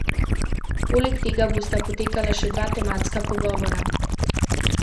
Poleg tega bosta potekala še dva tematska pogovora.